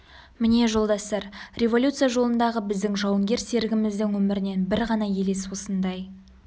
міне жолдастар революция жолындағы біздің жауынгер серігіміздің өмірінен бір ғана елес осындай